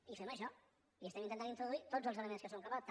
i fem això i estem intentant introduir tots els elements de què som capaços